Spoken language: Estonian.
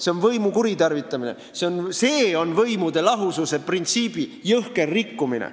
See on võimu kuritarvitamine, see on võimude lahususe printsiibi jõhker rikkumine.